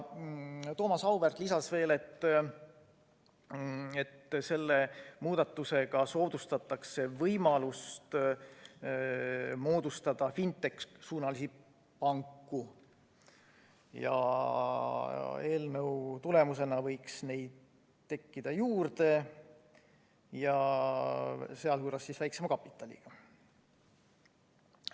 Thomas Auväärt lisas, et selle muudatusega soodustatakse võimalust moodustada fintech'i-suunalisi panku, eelnõu tulemusena võiks neid tekkida juurde ja sealhulgas väiksema kapitaliga.